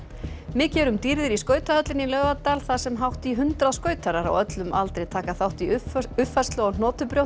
mikið er um dýrðir í skautahöllinni í Laugardal þar sem hátt í hundrað skautarar á öllum aldri taka þátt í uppfærslu uppfærslu á